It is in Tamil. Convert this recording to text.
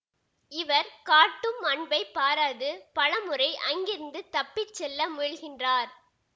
இவர் காட்டும் அன்பைப் பாராது பலமுறை அங்கிருந்து தப்பி செல்ல முயல்கின்றார்